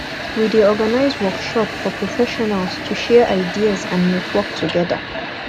we dey organize workshop for professionals to share ideas and network together